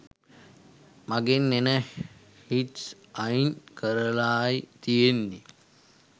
මගෙන් එන හිට්ස් අයින් කරලායි තියෙන්නේ.